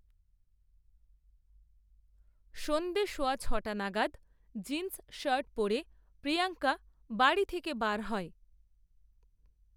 সন্ধে সওয়া ছটা নাগাদ, জিন্সশার্ট পরে প্রিয়াঙ্কা বাড়ি থেকে বার হয়